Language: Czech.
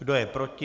Kdo je proti?